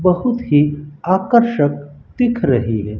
बहुत ही आकर्षक दिख रही है।